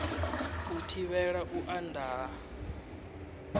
u thivhela u anda ha